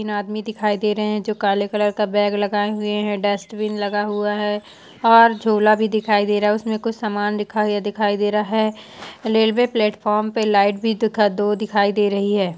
तीन आदमी दिखाई दे रहा है जोकि काले कलर का बैग लगाए हुए है डस्टबिन लगा हुआ है और झोला भी दिखाई दे रहा है उसमे कुछ सामन दिखाई या दिखाई दे रहा है रेलवे प्लेत्फोम पे लाइट भी दिखा दो दिखाई दे रही हैं।